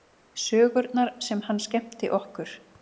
Sögurnar sem hann skemmti okkur